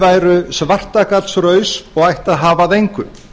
væru svartagallsraus og ætti að hafa að engu